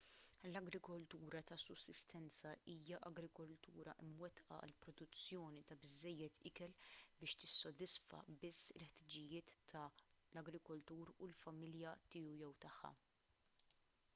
l-agrikoltura ta’ sussistenza hija agrikoltura mwettqa għall-produzzjoni ta’ biżżejjed ikel biex tissodisfa biss il-ħtiġijiet tal-agrikoltur u l-familja tiegħu/tagħha